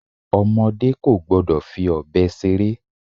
Ọmọdé kò gbọ́dọ̀ fi ọbẹ̀ ṣeré.